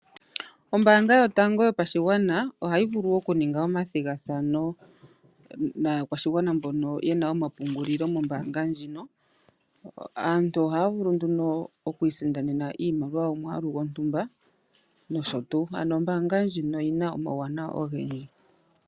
Ombaanga yotango yopashigwana ohayi vulu oku ninga omathigathano naakwashigwana mbono yena omapungulilo mombaanga ndjino, aantu ohaya vulu nduno oku isindanena iimaliwa yomwaalu gontumba noshotu. Ano ombaanga ndjino oyina omauwanawa ogendji.